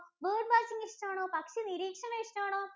bird watching ഇഷ്ട്ടാണോ? പക്ഷി നിരീക്ഷണം ഇഷ്ട്ടാണോ?